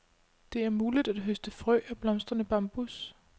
Det er muligt at høste frø af blomstrende bambus.